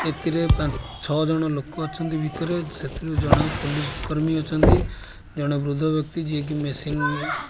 ଏଥିରେ ପାଁ ଛଅ ଜଣ ଲୋକ ଅଛନ୍ତି ଭିତରେ ସେଥିରୁ ଜଣେ ପୋଲିସ୍ କର୍ମୀ ଅଛନ୍ତି ଜଣେ ବୃଦ୍ଧ ବ୍ୟକ୍ତି ଯିଏ କି ମେସିନ୍ --